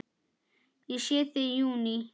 Ég sé þig í júní.